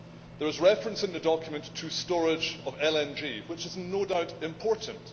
There is reference in the document to storage of LNG, which is no doubt important.